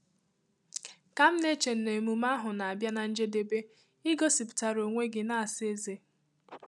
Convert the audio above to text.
Ka m na-eche na emume ahụ n'abia na njedebe, i gosipụtara onwe gị na-asa eze.